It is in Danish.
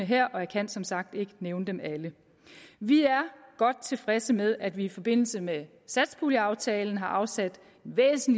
her og jeg kan som sagt ikke nævne dem alle vi er godt tilfredse med at vi i forbindelse med satspuljeaftalen har afsat